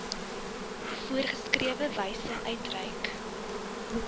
voorgeskrewe wyse uitreik